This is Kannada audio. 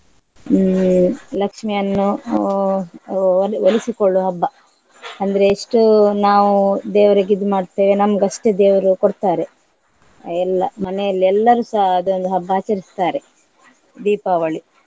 ಹ್ಮ್ ಲಕ್ಷ್ಮಿ ಅನ್ನು ಹಾ ಒ~ ಒಲಿಸಿಕೊಳ್ಳುವ ಹಬ್ಬ ಅಂದ್ರೆ ಎಷ್ಟೋ ನಾವು ದೇವರಿಗೆ ಇದು ಮಾಡ್ತೇವೆ ನಮ್ಗಷ್ಟೇ ದೇವರು ಕೊಡ್ತಾರೆ ಎಲ್ಲಾ ಮನೆಯಲ್ಲಿ ಎಲ್ಲರುಸ ಅದೊಂದು ಹಬ್ಬ ಆಚರಿಸುತ್ತಾರೆ ದೀಪಾವಳಿ.